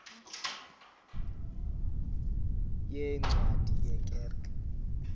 yeencwadi ye kerk